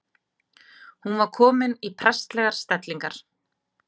Hún var komin í prestslegar stellingar.